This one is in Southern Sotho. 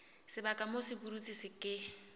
sebaka moo sepudutsi se ke